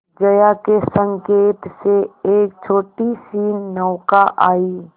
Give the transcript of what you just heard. जया के संकेत से एक छोटीसी नौका आई